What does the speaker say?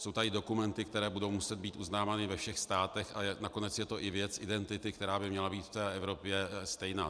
Jsou tady dokumenty, které budou muset být uznávány ve všech státech, a nakonec je to i věc identity, která by měla být v té Evropě stejná.